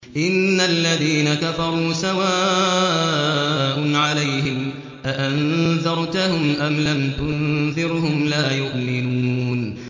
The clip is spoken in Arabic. إِنَّ الَّذِينَ كَفَرُوا سَوَاءٌ عَلَيْهِمْ أَأَنذَرْتَهُمْ أَمْ لَمْ تُنذِرْهُمْ لَا يُؤْمِنُونَ